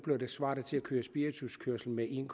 svarer det til at køre spirituskørsel med en